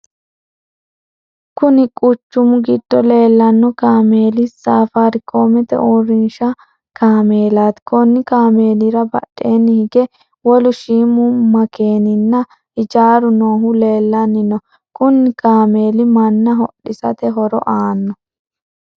Kunni quchumu gido leelano kaameeli safarikoomete uurinsha kaameelaati. Konni kaameelira badheenni hige wolu shiimu makeenninna hijaaru noohu leelanni no. Kunni kaameeli manna hodhisate horo aano.